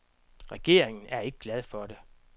Regeringen er ikke glade for det.